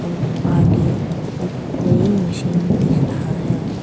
आगे एक मशीन दिख रहा है।